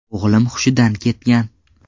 O‘g‘lim hushidan ketgan.